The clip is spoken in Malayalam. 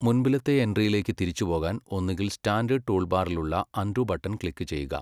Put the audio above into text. മുൻപിലത്തെ എൻട്രിയിലേക്ക് തിരിച്ചുപോകാൻ ഒന്നുകിൽ സ്റ്റാൻഡേഡ് ടൂൾബാറിലുളള അണ്ഡു ബട്ടൻ ക്ലിക്ക് ചെയ്യുക.